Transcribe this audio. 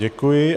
Děkuji.